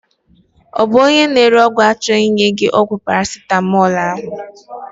Ọ bụ na ore ọgwụ achọghị inye gị ọgwụ Paracetamol ahụ?